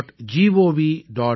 ekbharat